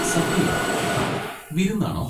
സദ്യയോ? വിരുന്നാണോ?